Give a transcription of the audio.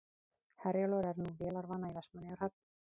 Herjólfur er nú vélarvana í Vestmannaeyjahöfn